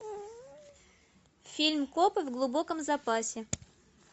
фильм копы в глубоком запасе